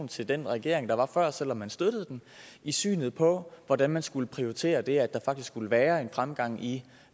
til den regering der var før selv om man støttede den i synet på hvordan man skulle prioritere det at der faktisk skulle være en fremgang i